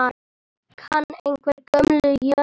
Kann einhver Gömlu jómfrú?